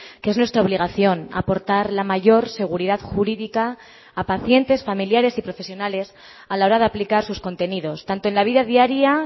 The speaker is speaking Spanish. que es nuestra obligación aportar la mayor seguridad jurídica a pacientes familiares y profesionales a la hora de aplicar sus contenidos tanto en la vida diaria